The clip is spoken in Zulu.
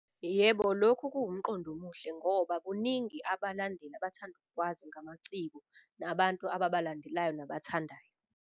Yebo lokhu kuwumqondo omuhle ngoba kuningi abalandeli abathanda ukukwazi ngamaciko nabantu ababalandelayo nabathandayo.